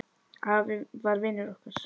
Afi var vinur okkar.